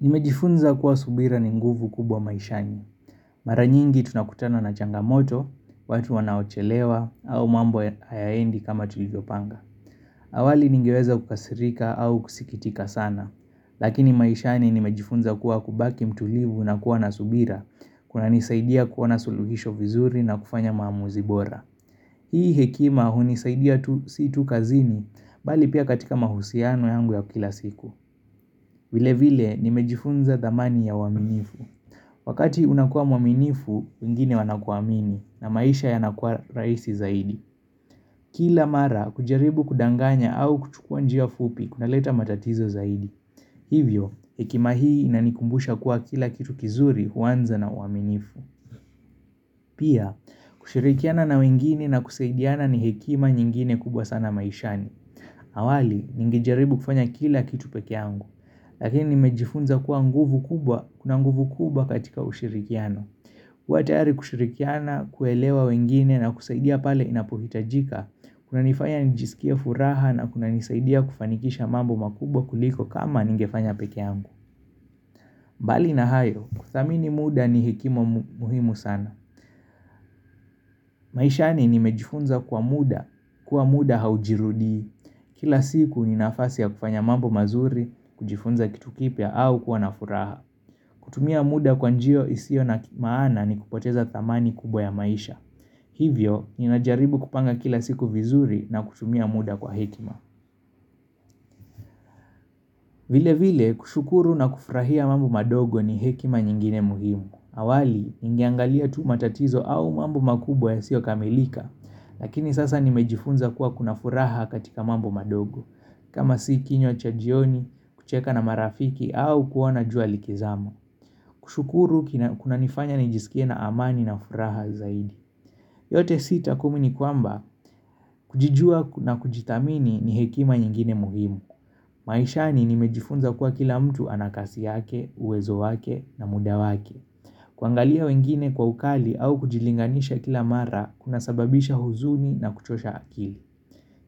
Nimejifunza kuwa subira ni nguvu kubwa maishani. Mara nyingi tunakutana na changamoto, watu wanaochelewa, au mambo hayaendi kama tulivyopanga. Awali ningeweza kukasirika au kusikitika sana, lakini maishani nimejifunza kuwa kubaki mtulivu na kuwa na subira, kunanisaidia kuwa na suluhisho vizuri na kufanya maamuzi bora. Hii hekima hunisaidia si tu kazini, bali pia katika mahusiano yangu ya kila siku. Vile vile, nimejifunza thamani ya uaminifu. Wakati unakua mwaminifu, wengine wanakuamini na maisha yanakuwa rahisi zaidi. Kila mara, kujaribu kudanganya au kuchukua njia fupi kunaleta matatizo zaidi. Hivyo, hekima hii inanikumbusha kuwa kila kitu kizuri huanza na uaminifu. Pia, kushirikiana na wengine na kusaidiana ni hekima nyingine kubwa sana maishani awali, ningejaribu kufanya kila kitu peke yangu Lakini, nimejifunza kuwa nguvu kubwa, kuna nguvu kubwa katika ushirikiano, kuwa tayari kushirikiana, kuelewa wengine na kusaidia pale inapohitajika kunanifanya nijisikie furaha na kunanisaidia kufanikisha mambo makubwa kuliko kama ningefanya peke yangu mbali na hayo, kuthamini muda ni hekima muhimu sana maishani nimejifunza kuwa muda, kuwa muda haujirudii Kila siku ni nafasi ya kufanya mambo mazuri, kujifunza kitu kipya au kuwa na furaha kutumia muda kwa njia isiyo na maana ni kupoteza thamani kubwa ya maisha Hivyo, ninajaribu kupanga kila siku vizuri na kutumia muda kwa hekima vile vile, kushukuru na kufurahia mambo madogo ni hekima nyingine muhimu. Awali, ningeangalia tu matatizo au mambu makubwa yasiyo kamilika Lakini sasa nimejifunza kuwa kuna furaha katika mambo madogo kama si kinywa cha jioni, kucheka na marafiki au kuona jua likizama kushukuru kunanifanya nijisikie na amani na furaha zaidi yote sita kumi ni kwamba kujijua na kujithamini ni hekima nyingine muhimu. Maishani nimejifunza kuwa kila mtu ana kasi yake, uwezo wake na muda wake kuangalia wengine kwa ukali au kujilinganisha kila mara kunasababisha huzuni na kuchosha akili